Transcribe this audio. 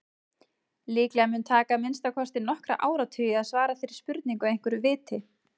Líklega mun taka að minnsta kosti nokkra áratugi að svara þeirri spurningu að einhverju viti.